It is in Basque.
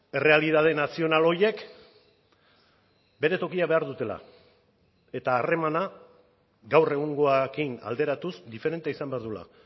errealitate nazional horiek bere tokia behar dutela eta harremana gaur egungoarekin alderatuz diferentea izan behar duela